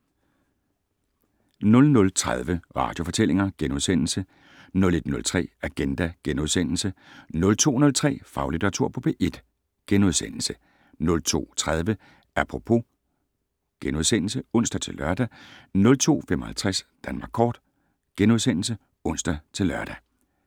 00:30: Radiofortællinger * 01:03: Agenda * 02:03: Faglitteratur på P1 * 02:30: Apropos *(ons-lør) 02:55: Danmark Kort *(ons-lør)